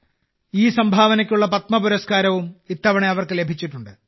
ഈ സംഭാവനയ്ക്കുള്ള പത്മപുരസ്കാരവും ഇത്തവണ അവർക്ക്് ലഭിച്ചിട്ടുണ്ട്